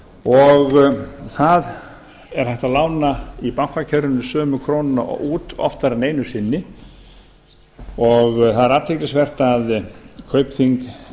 og það er hægt að lána í bankakerfinu sömu krónuna út oftar en einu sinni og það er athyglisvert að kaupþing